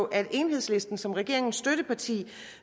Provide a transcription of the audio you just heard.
at enhedslisten som regeringens støtteparti